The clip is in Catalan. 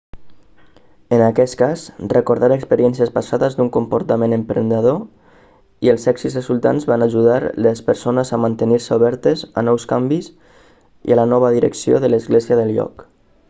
en aquest cas recordar experiències passades d'un comportament emprenedor i els èxits resultants va ajudar les persones a mantenir-se obertes a nous canvis i la nova direcció de l'església del lloc